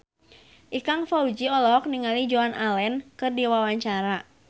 Ikang Fawzi olohok ningali Joan Allen keur diwawancara